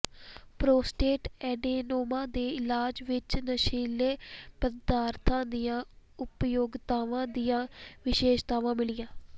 prostate adenoma ਦੇ ਇਲਾਜ ਵਿੱਚ ਨਸ਼ੀਲੇ ਪਦਾਰਥਾਂ ਦੀਆਂ ਉਪਯੋਗਤਾਵਾਂ ਦੀਆਂ ਵਿਸ਼ੇਸ਼ਤਾਵਾਂ ਮਿਲੀਆਂ